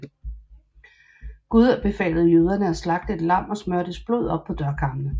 Gud befalede jøderne at slagte et lam og smøre dets blod op på dørkarmene